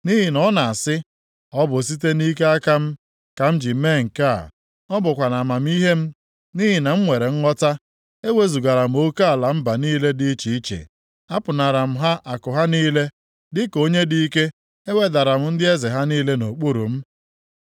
Nʼihi na ọ na-asị, “ ‘Ọ bụ site nʼike aka m, ka m ji mee nke a, ọ bụkwa na amamihe m, nʼihi na m nwere nghọta. Ewezugara m oke ala mba niile dị iche iche, apụnara m ha akụ ha niile; dịka onye dị ike, e wedara m ndị eze ha niile nʼokpuru m.